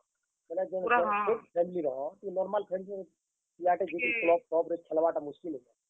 ବେଲେ ଗୁଟେ ଛୋଟ୍ family ର normal family ର ପିଲାଟେ ଯାଇକି club ରେ ଖେଲବାର୍ ଟା ମୁସ୍ କିଲ୍ ଆଏ।